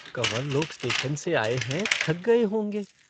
कँवर लोग स्टेशन से आए हैं, थक गए होंगे।